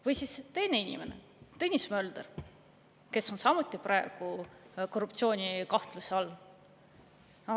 Või siis teine inimene, Tõnis Mölder, kes on samuti praegu korruptsioonikahtluse all.